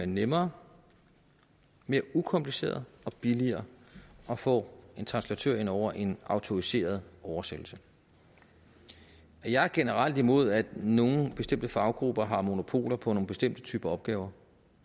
nemmere mere ukompliceret og billigere at få en translatør ind over en autoriseret oversættelse jeg er generelt imod at nogle bestemte faggrupper har monopol på nogle bestemte typer opgaver